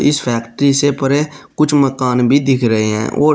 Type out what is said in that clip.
इस फैक्ट्री से परे कुछ मकान भी दिख रहे हैं ओर--